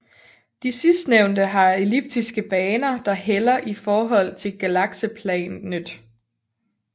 De sidstnævnte har elliptiske baner der hælder i forhold til galakseplanet